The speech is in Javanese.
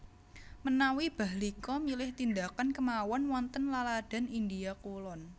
Menawi Bahlika milih tindakan kemawon wonten laladan India kulon